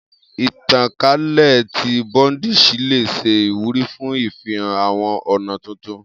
Itankale ti Buddhism le ṣe iwuri fun ifihan awọn ọna tuntun.